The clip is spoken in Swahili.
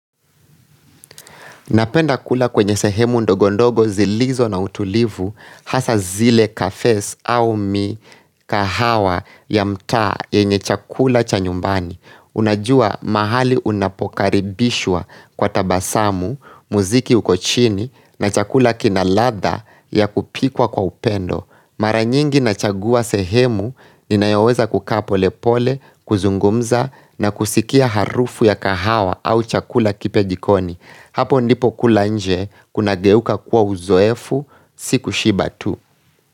Napenda kula kwenye sehemu ndogondogo zilizo na utulivu hasa zile kafes au mikahawa ya mtaa yenye chakula cha nyumbani Unajua mahali unapokaribishwa kwa tabasamu, muziki ukochini na chakula kinaladha ya kupikwa kwa upendo Mara nyingi nachagua sehemu ninayoweza kukaa polepole, kuzungumza na kuskia harufu ya kahawa au chakula kipya jikoni Hapo ndipo kula nje kunageuka kwa uzoefu si kushiba tu.